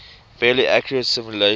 fairly accurate simulation